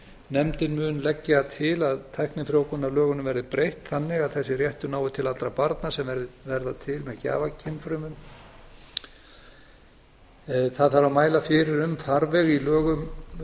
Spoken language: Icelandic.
nefndin mun leggja til að tæknifrjóvgunarlögunum verði breytt þannig að þessi réttur nái til allra barna sem verða til með gjafakynfrumum það þarf að mæla fyrir um þarfir í lögum